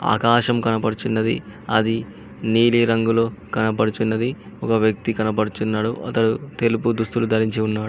ఆకాశం కనబడుచున్నది అది నీలి రంగులో కనబడుచున్నది ఒక వ్యక్తి కనబడుచున్నాడు అతడు తెలుపు దుస్తులు ధరించి ఉన్నాడు.